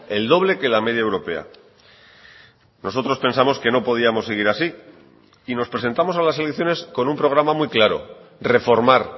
el doble que la media europea nosotros pensamos que no podíamos seguir así y nos presentamos a las elecciones con un programa muy claro reformar